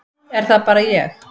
Er það bara ég.